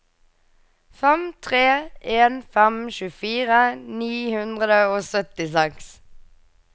fem tre en fem tjuefire ni hundre og syttiseks